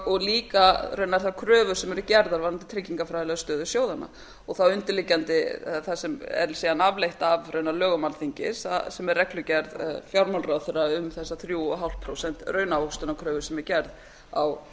og líka raunar þær kröfur sem eru gerðar varðandi tryggingafræðilega stöðu sjóðanna og þá undirliggjandi það sem er síðan afleitt af raunar lögum alþingis sem er reglugerð fjármálaráðherra um þessa þrjá og hálft prósent raunávöxtunarkröfu sem er gerð á